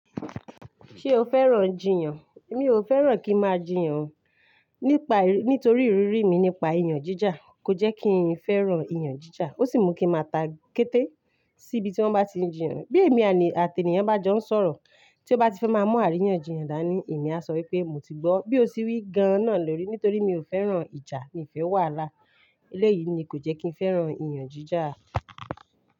Ṣé o fẹ́ràn jiyàn? Mi ò fẹ́ràn kí ń máa jiyàn. Nípa, nítorí ìrírí mi nípa ìyàn jíjà kò jẹ́ kí n fẹ́ràn ìyàn jíjà. Ó sì mú kín máa ta kéte sí ibi tí wọ́n bá ti ń jiyàn. Bí èmi àti ènìyàn bá jọ ń sọ̀rọ̀ tí ó bá ti fẹ́ máa mú àríyànjiyàn dání, èmi á sọ wípé mo ti gbọ́. Bí ó sì wí gan náà lórí, nítorí mi ò fẹ́ràn ìjà mii fẹ́ wàhálà. Eléyìí ni kò jẹ́ kí n fẹ́ràn ìyàn jíjà.